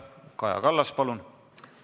Kaja Kallas, palun!